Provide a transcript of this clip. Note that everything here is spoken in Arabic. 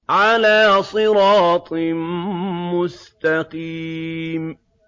عَلَىٰ صِرَاطٍ مُّسْتَقِيمٍ